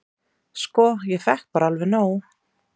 """Sko, ég fékk bara alveg nóg."""